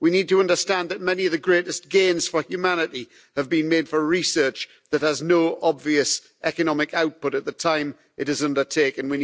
We need to understand that many of the greatest gains for humanity have been made from research with no obvious economic output at the time it was undertaken.